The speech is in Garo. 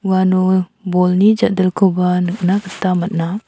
uano bolni ja·dilkoba nikna gita man·a.